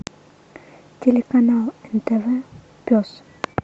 телеканал нтв пес